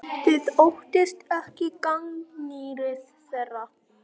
Þið óttist ekki gagnrýni þeirra?